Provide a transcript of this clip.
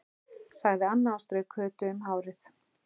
sagði Anna og strauk Kötu um hárið.